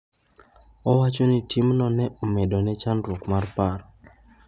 Owacho ni timno ne omedo ne chandruok mar paro.